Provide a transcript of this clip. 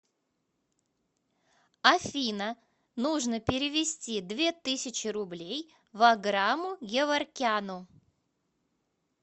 афина нужно перевести две тысячи рублей ваграму геворкяну